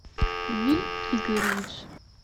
виль игоревич